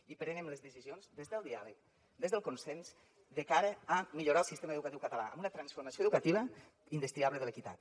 i prenem les decisions des del diàleg des del consens de cara a millorar el sistema educatiu català amb una transformació educativa indestriable de l’equitat